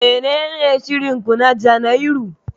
Menene shirin ku na Janairu?